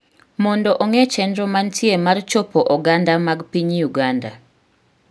mondo ong'e chenro mantie mar chopo oganda mag piny Uganda